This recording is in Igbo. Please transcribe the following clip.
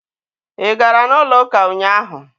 Ị gara n'ụlọ ụka ụnyaahụ?